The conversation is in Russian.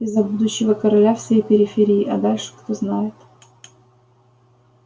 и за будущего короля всей периферии а дальше кто знает